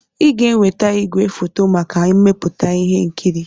Ị ga-eweta igwefoto maka mmepụta ihe nkiri!